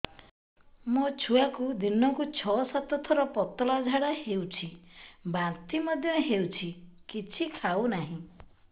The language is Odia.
ମୋ ଛୁଆକୁ ଦିନକୁ ଛ ସାତ ଥର ପତଳା ଝାଡ଼ା ହେଉଛି ବାନ୍ତି ମଧ୍ୟ ହେଉଛି କିଛି ଖାଉ ନାହିଁ